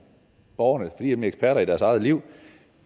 borgerne for er nemlig eksperter i deres eget liv